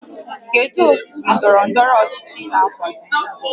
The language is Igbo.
Kedu otu ndọrọ ndọrọ ọchịchị ị na-akwado?